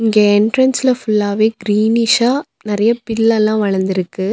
இங்க என்ட்ரன்ஸ்ல ஃபுல்லாவே கிரீனிஷ்ஷா நெறைய பில் எல்லா வளந்துருக்கு.